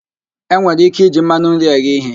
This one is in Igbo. E nwere ike iji mmanụ nri eghe ihe